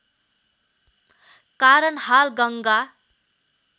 कारण हाल गङ्गा